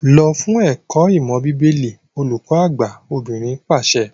Lọ fún ẹ̀kọ́ ìmọ̀ bíbélì! olùkọ àgbà obìnrin pàṣẹ.